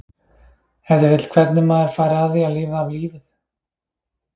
Ef til vill hvernig maður fari að því að lifa af lífið?